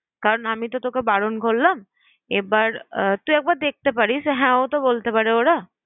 কারন আমি তো তোকে বারন করলাম এবার আহ তুই একবার দেখতে পারিস, হ্যাঁ ওতো বলতে পারে ওরা।